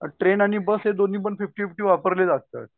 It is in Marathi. ट्रेन आणि बस हे दोन्हीपण फिफ्टी फिफ्टी वारले जातात.